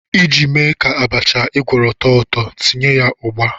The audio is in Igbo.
Iji mee ka abacha ị gwọrọ too ụtọ, tinye ya ugba.